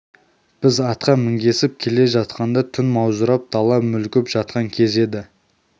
біз атқа мінгесіп келе жатқанда түн маужырап дала мүлгіп жатқан кез еді